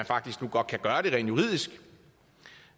faktisk godt kan gøre det rent juridisk